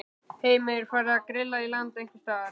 Heimir: Farið að grilla í land einhvers staðar?